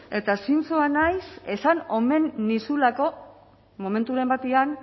eta zintzoa naiz esan omen nizulako momenturen batean